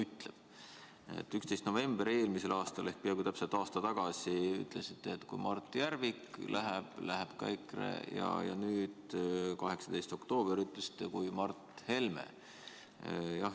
11. novembril eelmisel aastal ehk peaaegu aasta tagasi ütlesite, et kui Mart Järvik läheb, läheb ka EKRE, ja nüüd, 18. oktoobril, ütlesite sama Mart Helme kohta.